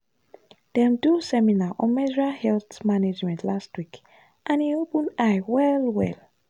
dem do seminar on menstrual health management last week and e open eye well-well.